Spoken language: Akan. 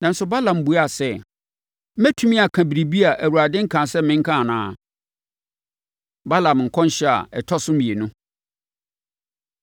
Nanso, Balaam buaa sɛ, “Metumi aka biribi a Awurade nkaa sɛ menka anaa?” Balaam Nkɔmhyɛ A Ɛtɔ So Mmienu